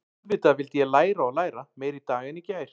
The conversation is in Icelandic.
Auðvitað vildi ég læra og læra, meira í dag en í gær.